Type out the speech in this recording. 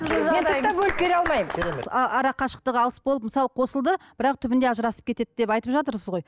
арақашықтық алыс болып мысалы қосылды бірақ түбінде ажырасып кетеді деп айтып жатырсыз ғой